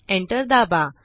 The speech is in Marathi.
एंटर दाबा